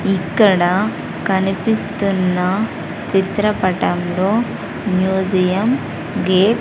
ఇక్కడ కనిపిస్తున్న చిత్రపటంలో మ్యూజియం గేట్--